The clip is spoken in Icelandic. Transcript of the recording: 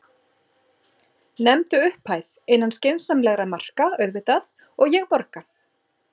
Nefndu upphæð, innan skynsamlegra marka auðvitað, og ég borga.